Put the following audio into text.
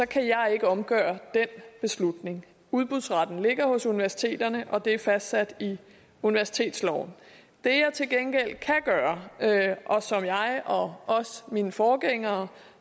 kan jeg ikke omgøre den beslutning udbudsretten ligger hos universiteterne og det er fastsat i universitetsloven det jeg til gengæld kan gøre og som jeg og også mine forgængere